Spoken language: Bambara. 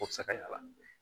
O bɛ se ka yɛlɛn a n'o